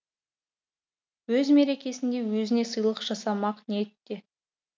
өз мерекесінде өзіне сыйлық жасамақ ниетте